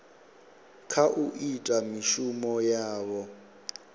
kha u ita mishumo yavho